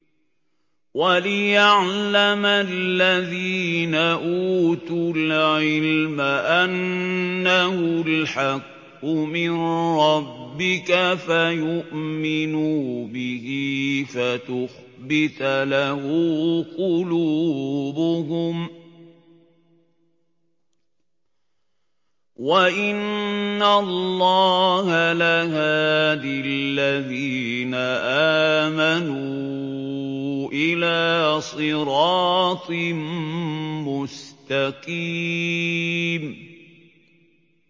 وَلِيَعْلَمَ الَّذِينَ أُوتُوا الْعِلْمَ أَنَّهُ الْحَقُّ مِن رَّبِّكَ فَيُؤْمِنُوا بِهِ فَتُخْبِتَ لَهُ قُلُوبُهُمْ ۗ وَإِنَّ اللَّهَ لَهَادِ الَّذِينَ آمَنُوا إِلَىٰ صِرَاطٍ مُّسْتَقِيمٍ